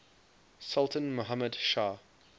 sultan muhammad shah